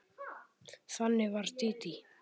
Þannig var Dídí.